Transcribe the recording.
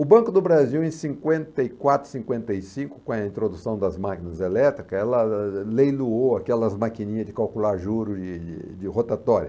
O Banco do Brasil, em cinquenta e quatro, cinquenta e cinco, com a introdução das máquinas elétricas, ela leiloou aquelas maquininhas de calcular juros de de rotatória.